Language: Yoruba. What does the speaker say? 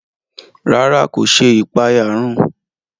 Ràrá, ko ṣe ipaeyarun